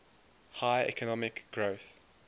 high economic growth